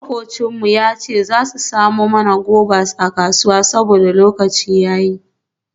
Makwabcin mu ya ce za su samo mana guavas a kasuwa saboda lokacin ya yi.